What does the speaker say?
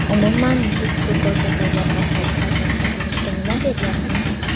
Umuman, biz bu ko‘rsatuvlar orqali farzandlarimizga nima beryapmiz?